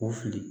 O fili